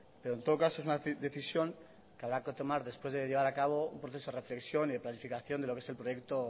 pero en todo caso es una decisión que habrá que tomar después de llevar a cabo un proceso de reflexión y de planificación de lo que es el proyecto